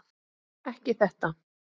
Ekki þetta!